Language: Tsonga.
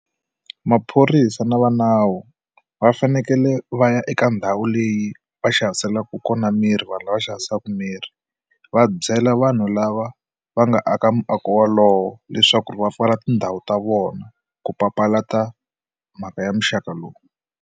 Maphorisa na va nawu va fanekele va ya eka ndhawu leyi va xaviselaka kona miri vanhu lava xavisaka mirhi va byela vanhu lava va nga aka muako wolowo leswaku va pfala tindhawu ta vona ku papalata mhaka ya muxaka lowu.